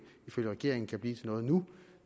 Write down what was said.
ifølge regeringen ikke kan blive til noget nu